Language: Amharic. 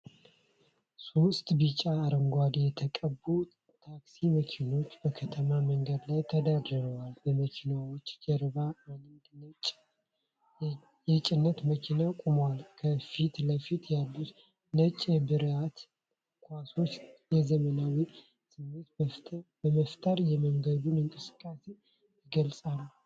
ሶስት ቢጫና አረንጓዴ የተቀቡ ታክሲ መኪኖች፣ በከተማ መንገድ ላይ ተደርድረዋል፣ በመኪናዎቹ ጀርባ አንድ ነጭ የጭነት መኪና ቆሟል፤ ከፊት ለፊት ያሉት ነጭ የመብራት ኳሶች የዘመናዊነት ስሜት በመፍጠር የመንገዱን እንቅስቃሴ ይገልጻሉ።